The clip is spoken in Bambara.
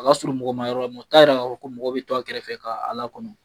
A ka surun mɔgɔma yɔrɔ la, mɛ o t'a yira k'a fɔ ko mɔgɔ bɛ to a kɛrɛfɛ ka lakɔnɔ.